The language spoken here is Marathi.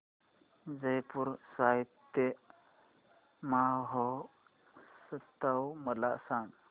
जयपुर साहित्य महोत्सव मला सांग